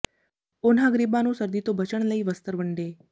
ਉਨ੍ਹਾਂ ਗਰੀਬਾਂ ਨੂੰ ਸਰਦੀ ਤੋਂ ਬਚਣ ਲਈ ਵਸਤਰ ਵੰਡੇ